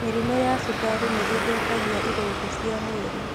Mĩrĩmũ ya cukari nĩĩthũkagia irũngo cia mwĩrĩ